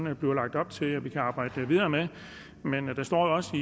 er blevet lagt op til at vi kan arbejde videre med men men der står også